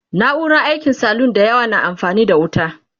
na'urar aikin salun da yawa na amfani da wuta